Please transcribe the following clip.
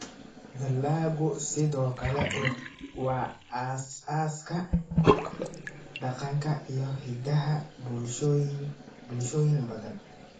Dalaggu sidoo kale waa aasaaska dhaqanka iyo hiddaha bulshooyin badan.